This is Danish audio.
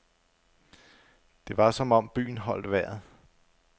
Det var som om byen holdt vejret.